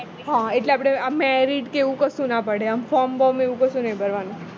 મળે હ એટલે આપણે marriage કે એવું કશું ન પડે form બોં એવું કાંસુ નઈ ભરવાનું